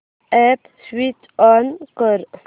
app switch on कर